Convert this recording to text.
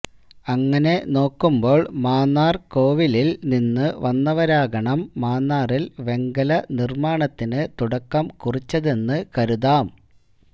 അങ്ങനെ നോക്കുമ്പോൾ മാന്നാർ കോവിലിൽ നിന്നു വന്നവരാകണം മാന്നാറിൽ വെങ്കല നിർമാണത്തിനു തുടക്കം കുറിച്ചതെന്നു കരുതാം